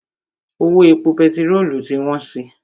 Owó epo pẹtirolu ti wọ́n si.